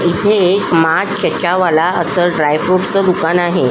इथे एक मा चचा वाला असल एक ड्राय फ्रुट च दुकान आहे.